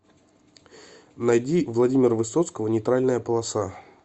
найди владимира высоцкого нейтральная полоса